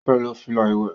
ọ fè ló fila iwẹ